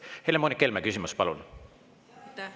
Helle-Moonika Helme, küsimus, palun!